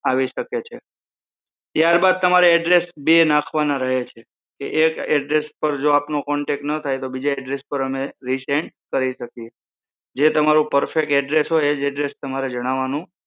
આવી શકે છે ત્યારબાદ તમારે address બે નાખવાના રહે છે કે એક address પર જો આપનો contact ના થાય તો બીજા address પર અમે resend કરી શકીયે જે તમારું perfect address હોય એજ address તમારે જણાવાનું